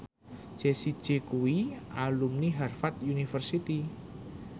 Jessie J kuwi alumni Harvard university